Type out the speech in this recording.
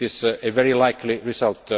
It is a very likely result.